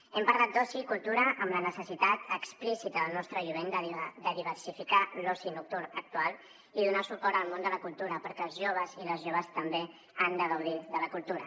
hem parlat d’oci i cultura amb la necessitat explícita del nostre jovent de diversificar l’oci nocturn actual i donar suport al món de la cultura perquè els joves i les joves també han de gaudir de la cultura